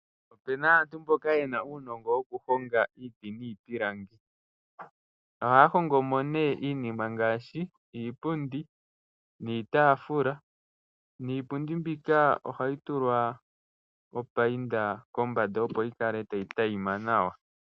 Opuna aantu mboka yena uunongo woku honga iiti niipilangi. Ohaya hongo mo nee iinima ngaashi iipundi niitaafula. Niipundi mbika ohayi tulwa opayinda kombanda opo yikale tayi tayima nawa.